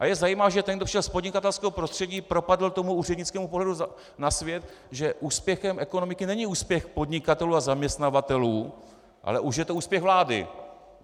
A je zajímavé, že ten, kdo vyšel z podnikatelského prostředí, propadl tomu úřednickému pohledu na svět, že úspěchem ekonomiky není úspěch podnikatelů a zaměstnavatelů, ale už je to úspěch vlády.